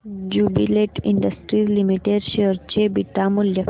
Jubilant Industries Limited share चे beta मूल्य